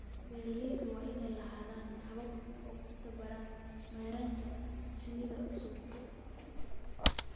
Beeralayda waa inay lahaadaan habab ay ku tababaraan maaraynta shinnida ee cusub.